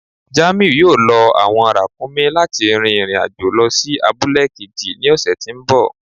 Jàmíù yóò lọ awọn ràkúmí̀ láti rìn irin-ajo lọ sí àbùlẹ̀ kéjì ni ọṣẹ̀ tí nbọ̀.